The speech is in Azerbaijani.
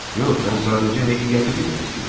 Yox, mən sadəcə həqiqəti bilmək istəyirəm.